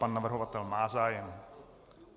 Pan navrhovatel má zájem.